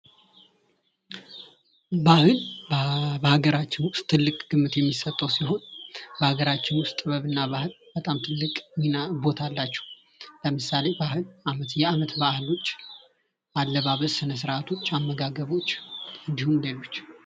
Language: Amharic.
ባህል በሀገራችን ውስጥ ትልቅ ግምት የሚሰጠው ሲሆን በሀገራችን ውስጥ ጥበብ እና ባህል በጣም ትልቅ ሚና ቦታ አላቸው። ለምሳሌ ባህል የዓመት በዓሎች ስርዓት ያለባበስ ስነ ስርዓቶች አመጋገቦች እንዲሁም ሌሎች